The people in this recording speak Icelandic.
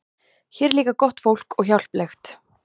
Hér er líka gott fólk og hjálplegt.